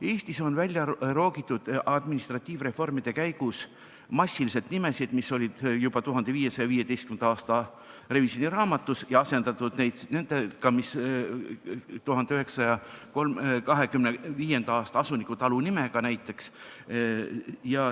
Eestis on administratiivreformide käigus välja roogitud massiliselt nimesid, mis olid juba 1515. aasta revisjoniraamatus, ja asendatud neid näiteks 1925. aasta asunikutalude nimedega.